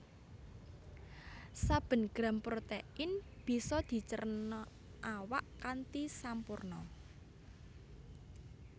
Saben gram protéin bisa dicerna awak kanthi sampurna